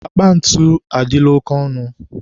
akpa ntu adịla oke ọnụ.